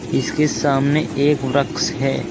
इसके सामने एक वृक्ष है।